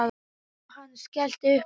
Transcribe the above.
Jóhann skellti upp úr.